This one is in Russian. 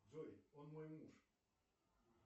джой он мой муж